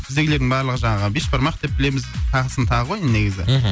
біздегілердің барлығы жаңағы бешбармақ деп білеміз тағысын тағы ғой негізі мхм